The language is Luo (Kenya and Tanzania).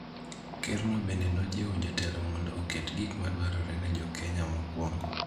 Kerno bende nojiwo jotelo mondo oket gik ma dwarore ne jo Kenya mokuongo